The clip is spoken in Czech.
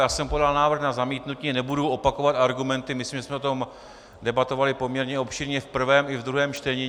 Já jsem podal návrh na zamítnutí, nebudu opakovat argumenty, myslím, že jsme o tom debatovali poměrně obšírně v prvém i v druhém čtení.